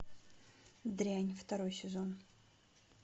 дрянь второй сезон